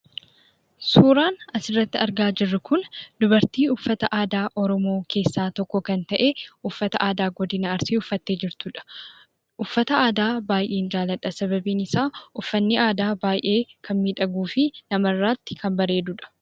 Suuraan asirratti argaa jirru kun dubartii uffata aadaa Oromoo keessaa tokko kan ta'e uffata aadaa naannoo Arsii uffattee jirtudha. Uffata aadaa baay'een jaalladha. Sababiin isaa uffatni aadaa baay'ee kan bareeduu fi namarraa kan miidhagudha.